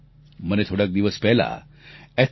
મને થોડાંક દિવસ પહેલાં એથલેટ પી